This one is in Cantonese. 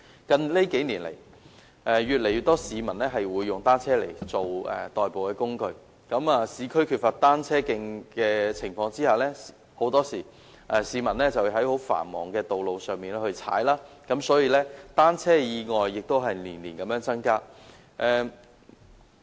近數年，越來越多市民使用單車作為代步工具，在市區缺乏單車徑的情況下，市民很多時候要在十分繁忙的道路上踏單車，所以單車意外年年增加。